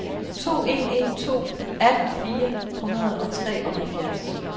to en en to atten fire hundrede og treoghalvfjerds